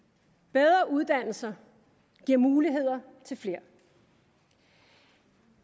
bedre uddannelser giver muligheder til flere